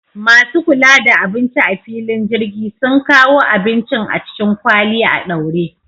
Masu kula da abinci a filin jirgi sun kawo abincin a cikin kwali a ɗaure